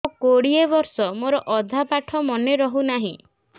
ମୋ କୋଡ଼ିଏ ବର୍ଷ ମୋର ଅଧା ପାଠ ମନେ ରହୁନାହିଁ